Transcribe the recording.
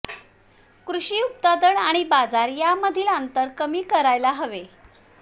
कृषी उत्पादन आणि बाजार या यामधील अंतर कमी करायला हवे